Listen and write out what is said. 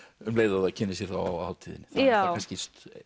um leið og það kynnir sér þá á hátíðinni er kannski